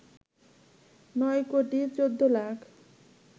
৯ crore ১৪ lakh